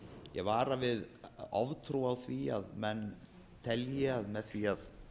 ég vara við oftrú á því að menn telji að með því að